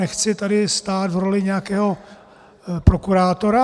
Nechci tady stát v roli nějakého prokurátora.